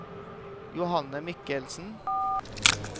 Johanne Michelsen